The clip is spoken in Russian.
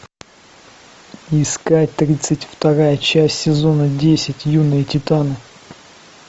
искать тридцать вторая часть сезона десять юные титаны